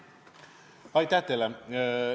Aitäh teile!